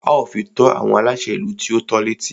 A ó fi tó àwọn aláṣẹ ìlú tí o tọ́ l'étí.